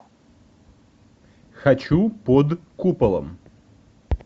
хочу под куполом